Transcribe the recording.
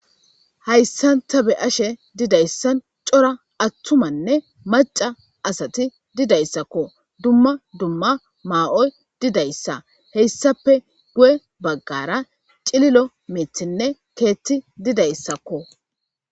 hayssan ta be'ishe ashe didayssan cora attumanne maca asati didayssakko dumma dumma maa7oy didayssa heyssape guye baggara cililo mithinne keetti didayssakko